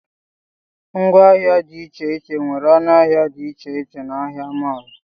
Ngwa ahịa dị iche iche nwere ọnụ ahịa dị iche iche na ahịa mọọlụ